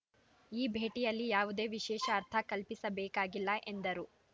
ಈ ಭೇಟಿಯಲ್ಲಿ ಯಾವುದೇ ವಿಶೇಷ ಅರ್ಥ ಕಲ್ಪಿಸಬೇಕಾಗಿಲ್ಲ ಎಂದರು